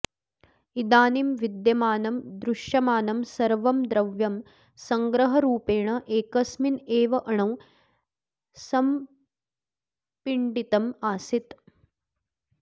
इदानीं विद्यमानं दृश्यमानं सर्वं द्रव्यं संग्रहरूपेण एकस्मिन् एव अणौ संपिण्डितम् आसीत्